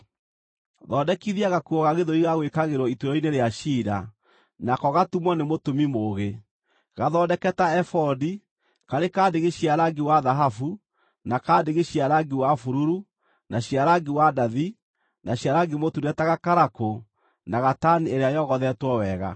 “Thondekithia gakuo ga gĩthũri ga gwĩkagĩrwo ituĩro-inĩ rĩa ciira, nako gatumwo nĩ mũtumi mũũgĩ. Gathondeke ta ebodi: karĩ ka ndigi cia rangi wa thahabu na ka ndigi cia rangi wa bururu, na cia rangi wa ndathi, na cia rangi mũtune ta gakarakũ na gatani ĩrĩa yogothetwo wega.